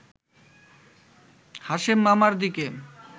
হাশেম মামার দিকে